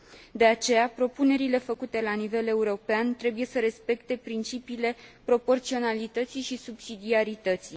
De aceea, propunerile făcute la nivel european trebuie să respecte principiile proporționalității și subsidiarității.